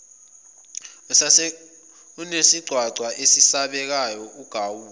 usunesigcwagcwa esesabekayo ugawule